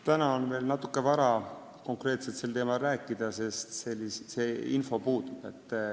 Täna on veel natuke vara sel teemal konkreetselt rääkida, sest see info puudub.